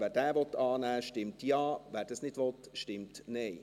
Wer diesen Punkt annehmen will, stimmt Ja, wer das nicht will, stimmt Nein.